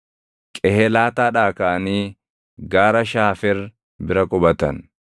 Qehelaataadhaa kaʼanii Gaara Shaafer bira qubatan.